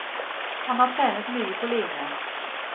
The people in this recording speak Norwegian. Han har trenet mye på line.